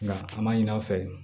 Nka an m'a ɲin'an fɛ yen